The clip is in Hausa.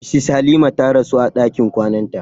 Mrs Halima ta rasu a ɗakin kwananta.